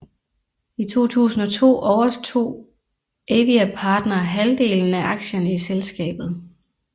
I 2002 overtog Aviapartner halvdelen af aktierne i selskabet